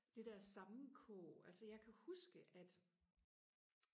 det der sammenkog altså jeg kan huske at